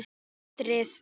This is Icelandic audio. Og hatrið.